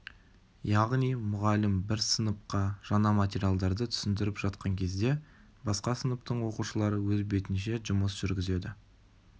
яғни мұғалім бір сыныпқа жаңа материалдарды түсіндіріп жатқан кезде басқа сыныптың оқушылары өз бетінше жұмыс жүргізеді